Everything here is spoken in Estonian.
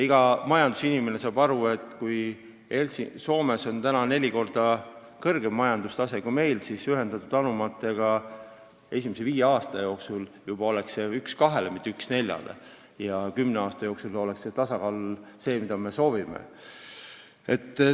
Iga majandusinimene saab aru, et kui Soomes on majanduse tase neli korda kõrgem kui meil, siis ühendatud anumate seaduse tõttu oleks esimese viie aasta pärast see suhe juba 1 : 2, mitte 1 : 4, ja kümne aasta pärast oleks tasakaal selline, nagu me soovime.